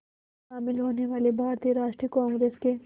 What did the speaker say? शामिल होने वाले भारतीय राष्ट्रीय कांग्रेस के